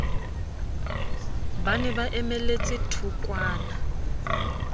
ba ne ba emeletse thokwana